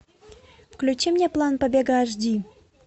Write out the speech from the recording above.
включи мне план побега аш ди